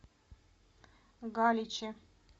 галиче